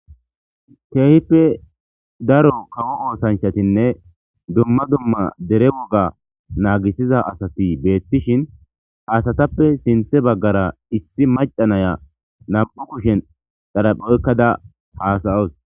Keehippe daro kawo oothanchatine dumma duma dere woga nagisiza asati beetizaysa gidishin asatape gede baggara issi macca naya nam'u kushen xaraphe oykada haasa'awus.